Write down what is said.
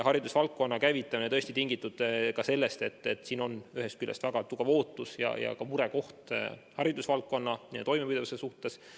Haridusvaldkonna vaktsineerimise käivitamine oli tingitud sellest, et siin on ühest küljest väga tugev ootus ja murekohaks haridusvaldkonna toimepidevus.